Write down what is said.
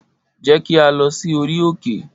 Jẹ ki a lọ si ori òkè!